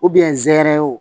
hɛrɛ ye o